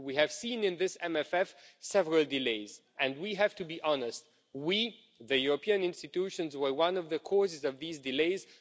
We have seen several delays in this MFF and we have to be honest we, the European institutions, were one of the causes of these delays.